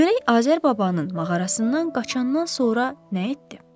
Görək Azər babanın mağarasından qaçandan sonra nə etdi?